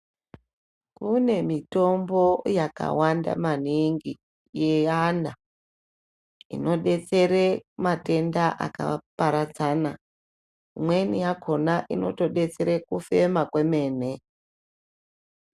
Kune mitombo yakawanda maningi yevana inodetsera matenda akaparadzana imweni yakona inotodetsera kufema kwemene.